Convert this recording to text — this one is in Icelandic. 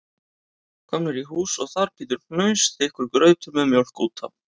Komnir í hús og þar bíður hnausþykkur grautur með mjólk út á